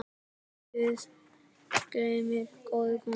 Guð geymi góða konu.